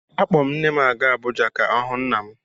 Akpọ m nne m a gaa Abụja ka ọ hụ nna m.